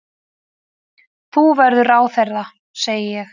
Þú verður ráðherra, segi ég.